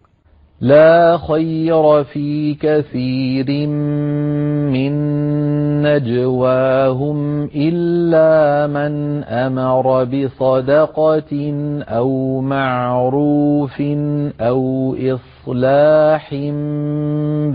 ۞ لَّا خَيْرَ فِي كَثِيرٍ مِّن نَّجْوَاهُمْ إِلَّا مَنْ أَمَرَ بِصَدَقَةٍ أَوْ مَعْرُوفٍ أَوْ إِصْلَاحٍ